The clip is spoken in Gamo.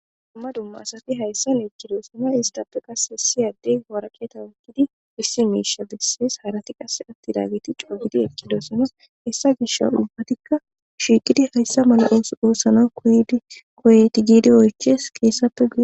dumma dumma asafi hayssan ekkidossana isdappe qas siyadey horaqeeta wukkidi issi miisha bessees harati qasse atti daageti cogidi ekkidosana hessa gish ulbatikka shiiqidi hayssa mala oosana koydi koyeti giidi oyches qeessappe gui